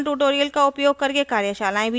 spoken tutorials का उपयोग करके कार्यशालाएँ भी चलाती है